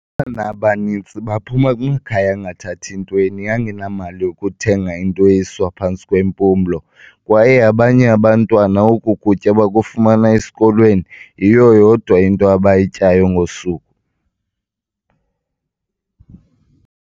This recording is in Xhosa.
"Abantwana abaninzi baphuma kumakhaya angathathi ntweni, angenamali yokuthenga into esiwa phantsi kwempumlo, kwaye abanye abantwana oku kutya bakufumana esikolweni, yiyo yodwa into abayityayo ngosuku."